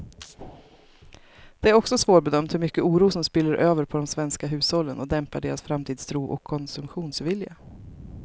Det är också svårbedömt hur mycket oro som spiller över på de svenska hushållen och dämpar deras framtidstro och konsumtionsvilja.